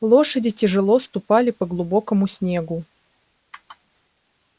лошади тяжело ступали по глубокому снегу